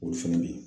Olu fɛnɛ be yen